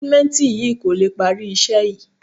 Sìmẹ́ǹtì yìí kò lè parí iṣẹ́ yìí